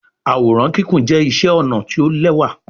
Àwòrán Kíkún jẹ iṣé ọnà tí o l'ẹwa.